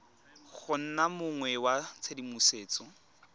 go nna mong wa tshedimosetso